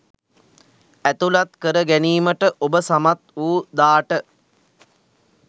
ඇතුළත් කර ගැනීමට ඔබ සමත් වූ දාට